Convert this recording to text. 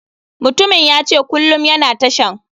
Mutumin yace kulum yana tashan.